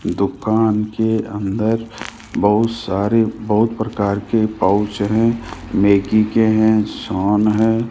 दुकान के अंदर बहुत सारे बहुत प्रकार के पाउच है नेकी के हैं शॉन है।